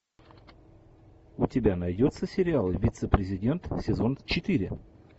у тебя найдется сериал вице президент сезон четыре